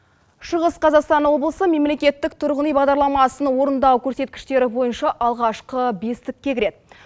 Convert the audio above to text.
шығыс қазақстан облысы мемлекеттік тұрғын үй бағдарламасын орындау көрсеткіштері бойынша алғашқы бестікке кіреді